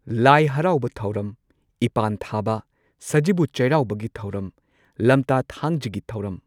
ꯂꯥꯏ ꯍꯔꯥꯎꯕ ꯊꯧꯔꯝ, ꯏꯄꯥꯟ ꯊꯥꯕ, ꯁꯖꯤꯕꯨ ꯆꯩꯔꯥꯎꯕꯒꯤ ꯊꯧꯔꯝ, ꯂꯝꯇꯥ ꯊꯥꯡꯖꯒꯤ ꯊꯧꯔꯝ